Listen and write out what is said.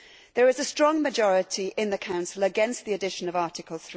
There is a strong majority in the Council against the addition of Article